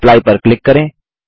apply पर click करें